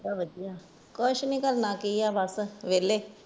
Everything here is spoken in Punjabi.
ਵਧੀਆ ਕੁਛ ਨਹੀਂ ਕਰਨਾ ਕੀ ਹੈ ਬਸ ਵੇਲੇ